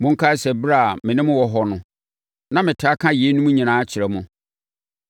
Monkae sɛ ɛberɛ a me ne mo wɔ hɔ no, na metaa ka yeinom nyinaa kyerɛ mo.